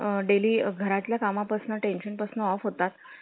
daily घराच्या कामा पासून, tension पासून off होतात